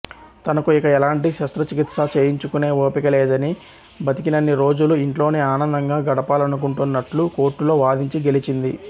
తనకు ఇక ఎలాంటి శస్త్రచికిత్సా చేయించుకునే ఓపిక లేదని బతికినన్ని రోజులు ఇంట్లోనే ఆనందంగా గడపాలనుకుంటున్నట్లు కోర్టులో వాదించి గెలిచింది